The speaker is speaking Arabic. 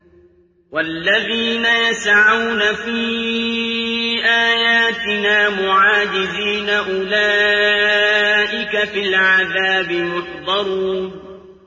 وَالَّذِينَ يَسْعَوْنَ فِي آيَاتِنَا مُعَاجِزِينَ أُولَٰئِكَ فِي الْعَذَابِ مُحْضَرُونَ